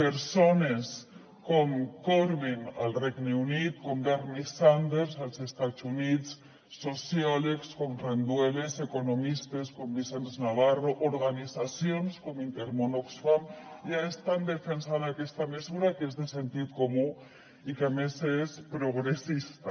persones com corbyn al regne unit com bernie sanders als estats units sociòlegs com rendueles economistes com vicenç navarro organitzacions com intermón oxfam ja estan defensant aquesta mesura que és de sentit comú i que a més és progressista